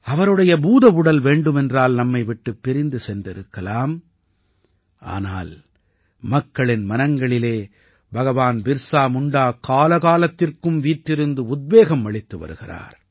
அவருடைய பூதவுடல் வேண்டுமென்றால் நம்மை விட்டுப் பிரிந்து சென்றிருக்கலாம் ஆனால் மக்களின் மனங்களிலே பகவான் பிர்ஸா முண்டா காலகாலத்திற்கும் வீற்றிருந்து உத்வேகம் அளித்து வருகிறார்